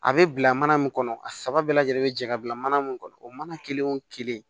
A bɛ bila mana min kɔnɔ a saba bɛɛ lajɛlen bɛ jɛ ka bila mana mun kɔnɔ o mana kelen o kelen